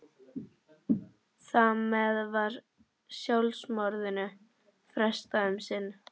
Þar með var sjálfsmorðinu frestað um sinn.